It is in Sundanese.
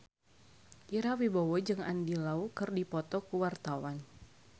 Ira Wibowo jeung Andy Lau keur dipoto ku wartawan